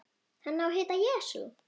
Hann á að heita Jesú.